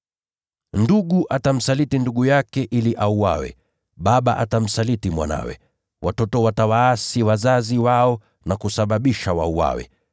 “Ndugu atamsaliti ndugu yake ili auawe, naye baba atamsaliti mtoto wake. Watoto nao wataasi dhidi ya wazazi wao na kusababisha wauawe.